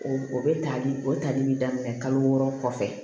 O o bɛ tali o tali bɛ daminɛ kalo wɔɔrɔ kɔfɛ